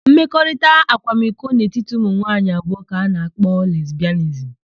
Mmekọrịta akwamiko n'etiti ụmụnwaanyị abụọ ka a na-akpọ lesbịanizim.